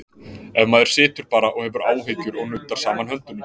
Ef maður situr bara og hefur áhyggjur og nuddar saman höndum?